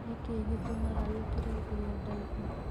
Nikĩĩ gĩtumaga wĩkĩre nguo ndaihu?